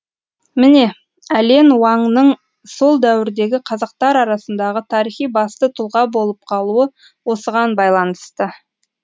міне әлен уаңның сол дәуірдегі қазақтар арасындағы тарихи басты тұлға болып қалуы осыған байланысты